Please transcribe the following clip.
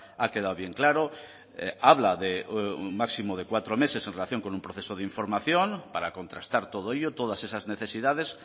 ha quedado bien claro habla de un máximo de cuatro meses en relación con un proceso de información para contrastar todo ello todas esas necesidades